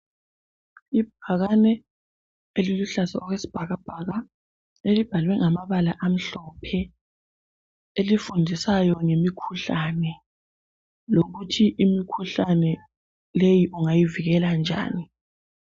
Ibhakane eliluhlaza okwesibhakabhaka elibhalwe ngamabala amhlophe elifundisayo ngemikhuhlane lokuthi imikhuhlane leyi ungayivikela njani.